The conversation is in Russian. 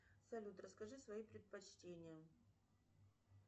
салют расскажи свои предпочтения